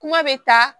Kuma bɛ taa